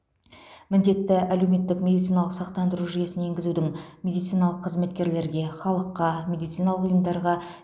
міндетті әлеуметтік медициналық сақтандыру жүйесін енгізудің медициналық қызметкерлерге халыққа медициналық ұйымдарға